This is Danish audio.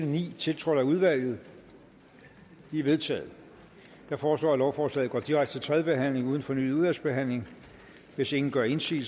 ni tiltrådt af udvalget de er vedtaget jeg foreslår at lovforslaget går direkte til tredje behandling uden fornyet udvalgsbehandling hvis ingen gør indsigelse